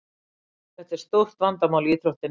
Þetta er stórt vandamál í íþróttinni.